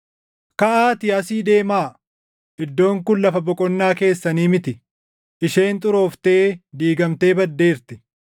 Kaʼaatii asii deemaa! Iddoon kun lafa boqonnaa keessanii miti; isheen xurooftee diigamtee baddeerti.